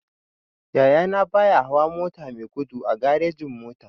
Yaya na baya hawa mota mai gudu a garejin-mota.